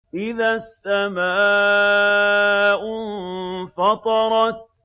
إِذَا السَّمَاءُ انفَطَرَتْ